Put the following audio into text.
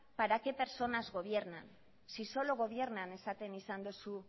para qué personas gobiernan si solo gobiernan esaten izan dozu